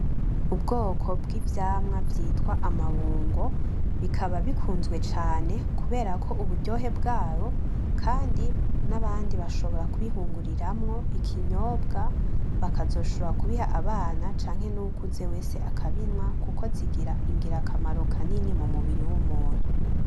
Ubwoko bw'ivyamwa vyitwa amabungo bikaba bikunzwe cane kuberako uburyohe bwawo kandi n'abanddi basshobora kwihinguriramwo ikinyobwa bakazoshobora kubiha abana canke n'uwukuze wese akabinwa kuko zigira ingira kamaro kanini mu mubiri w'umuntu.